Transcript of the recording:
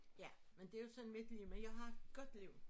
Ja men det jo sådan mit liv men jeg har et godt liv